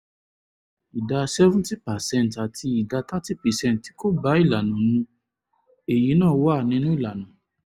ìdá seventy percent àti ìdá thirty percent tí kò bá ìlànà mu - èyí náà wà nínú ìlànà